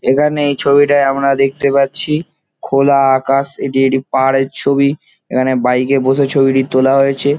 এখানে এই ছবিটায় আমরা দেখতে পাচ্ছি খোলা আকাশ এটি একটি পাহাড়ের ছবি। এখানে বাইক -এ বসে ছবিটি তোলা হয়েছে।